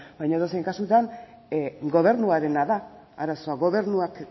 baina edozein kasutan gobernuarena da arazoa gobernuak